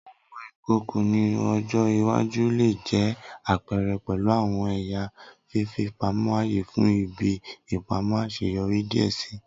Awọn ìkòkò ni ọjọ iwaju le jẹ apẹrẹ pẹlu awọn ẹya fifipamọ aaye fun ibi ipamọ aṣeyọri diẹ sii.